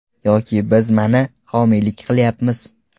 Yoki biz mana, homiylik qilyapmiz.